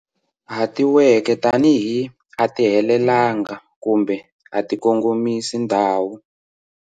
Hatiweke tanihi 'a ti helelanga' kumbe 'a ti kongomisi ndhawu'.